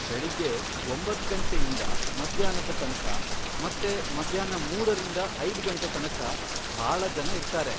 ಬೆಳಿಗ್ಗೆ ಒಂಬತ್ತ್ ಗಂಟೆಯಿಂದ ಮಧ್ಯಾಹ್ನದ ತನಕ ಮತ್ತೆ ಮಧ್ಯಾಹ್ನ ಮೂರರಿಂದ ಐದ್ ಗಂಟೆ ತನಕ ಭಾಳ ಜನ ಇರ್ತಾರೆ.